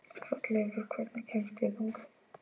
Hrolleifur, hvernig kemst ég þangað?